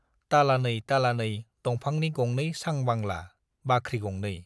तालानै तालानै दंफांनि गंनै सांबांला, बाख्रि गंनै।